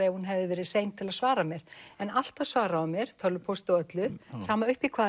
ef hún hefði verið sein til að svara alltaf svaraði hún mér tölvupósti og öllu sama uppi í hvaða